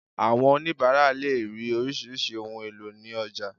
Àwọn onibara lè rí orisirisi ohùn èlò ni ọjà